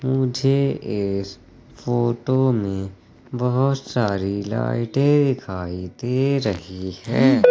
मुझे इस फोटो में बहुत सारी लाइटें दिखाई दे रही हैं।